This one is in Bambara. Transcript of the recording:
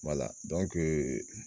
Wala